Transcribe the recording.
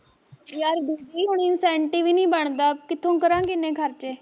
ਯਾਰ ਦੂਜੀ ਹੁਣਈ ਸੈਂਟੀ ਵੀ ਨੀ ਬਣਦਾ ਕਿਥੋਂ ਕਰਾਂਗੇ ਏਨੇ ਖਰਚੇ